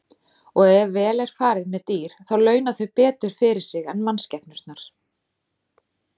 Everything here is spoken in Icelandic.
Og ef vel er farið með dýr þá launa þau betur fyrir sig en mannskepnurnar.